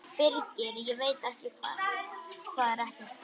Birgir: Ég veit það ekkert.